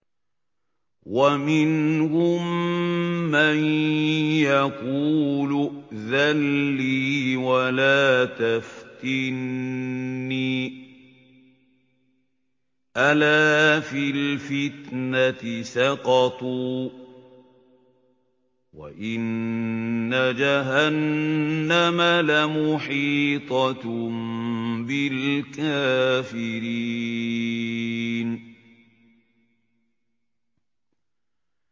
وَمِنْهُم مَّن يَقُولُ ائْذَن لِّي وَلَا تَفْتِنِّي ۚ أَلَا فِي الْفِتْنَةِ سَقَطُوا ۗ وَإِنَّ جَهَنَّمَ لَمُحِيطَةٌ بِالْكَافِرِينَ